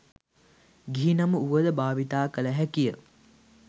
ගිහි නම වුවද භාවිතා කළ හැකිය.